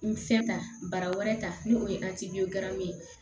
N fɛ ta bara wɛrɛ ta ni o ye ye